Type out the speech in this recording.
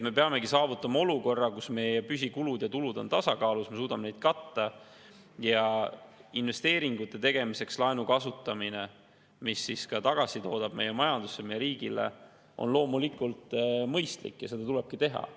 Me peame saavutama olukorra, kus meie püsikulud ja -tulud on tasakaalus, me suudame kulusid katta ja laenu kasutamine investeeringute tegemiseks, mis toodavad tagasi meie majandusse, meie riigile, on loomulikult mõistlik ja seda tulebki teha.